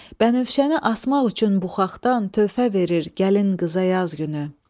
Bənövşəni asmaq üçün buxaxdan töhfə verir gəlin qıza yaz günü.